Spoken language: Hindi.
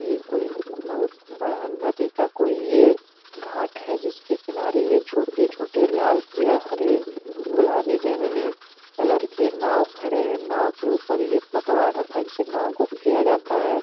ये कोई-न् बहुत बड़हन नदी का कोई ये घांट है जिसके किनारे ये छोटे-छोटे लाल पीयर हरे गुलाबी बैंगनी कलर के नाव खड़े हैं। नाव के ऊपर ये पतवार रखा जिससे नाव को खेया जाता है।